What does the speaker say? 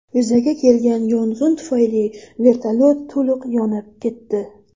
Yuzaga kelgan yong‘in tufayli vertolyot to‘liq yonib ketdi.